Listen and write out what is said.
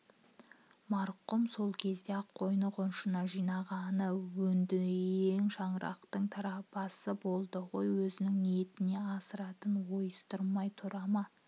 марқұм сол кезде-ақ қойны-қонышына жинағаны өндіең шырақтың тараптасы болды ғой өзінің ниетіне астыртын ойыстырмай тұра ма